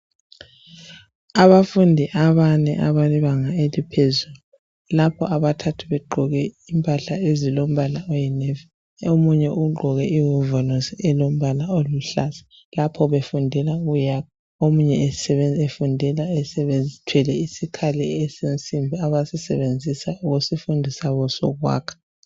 Abafundi abane abebanga eliphezulu lapho abathathu begqoke impahla ezilombala oyinevi, omunye ugqoke iwovolosi elombala oluhlaza lapho ukuyakha. Omunye efundela ethwele isikhali abasisebenzisa kusifundiswa sabo sokwakha.